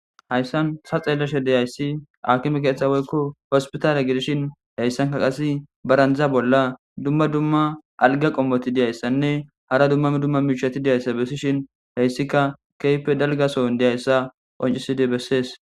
hayssan sa xeelashe deyayssi akime keeththa woykko hospitaalya gidishin heyssanka qase barandjza bolla dumma dumma alga qommoti diyayssanne hara dummami dumma miichati diyayssa bessishin heyssika keype dalgaso n deyayssa qonciside bessees